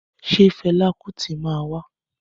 Ṣé fẹla Kuti máa wa?